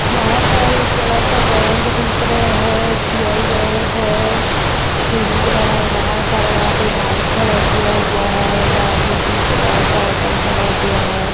यहाँ पर एक बड़ा-सा बैंक दिख रहा हैं एस. बी. आई. बैंक हैं सीढ़ी बना हैं बहोत सारा यहाँ पे बाइक खड़ा किया हुआ हैं एक आदमी दिख रहा हैं साइकिल खड़ा किया हैं।